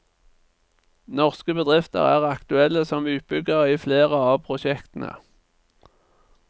Norske bedrifter er aktuelle som utbyggere i flere av prosjektene.